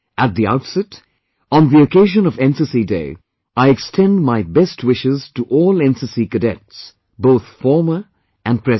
At the outset on the occasion of NCC, Day, I extend my best wishes to all NCC Cadets, both former & present